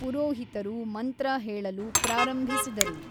ಪುರೋಹಿತರು ಮಂತ್ರ ಹೇಳಲು ಪ್ರಾರಂಭಿಸಿದರು.